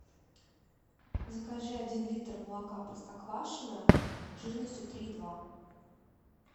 закажи один литр молока простоквашино жирностью три и два